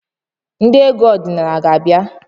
Ndị egwu ọdịnala a ga-bịa?